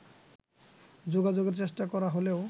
যোগাযোগের চেষ্টা করা হলেও